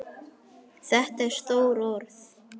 Þetta eru stór orð.